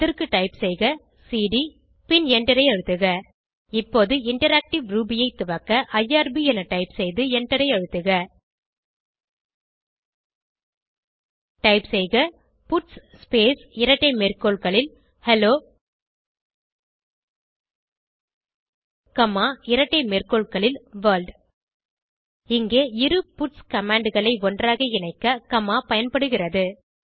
அதற்கு டைப் செய்க சிடி பின் எண்டரை அழுத்துக இப்போது இன்டராக்டிவ் ரூபி ஐ துவக்க ஐஆர்பி என டைப் செய்து எண்டரை அழுத்துக டைப் செய்க பட்ஸ் ஸ்பேஸ் இரட்டை மேற்கோள்களில் ஹெல்லோ காமா இரட்டை மேற்கோள்களில் வர்ல்ட் இங்கே இரு பட்ஸ் commandகளை ஒன்றாக இணைக்க காமா பயன்படுகிறது